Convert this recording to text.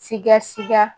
Siga siga